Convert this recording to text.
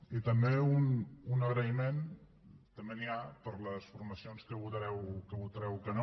i també un agraïment també n’hi ha per a les formacions que hi votareu que no